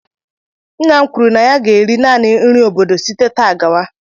Nna m kwuru na ya ga-eri naanị nri obodo site taa gawa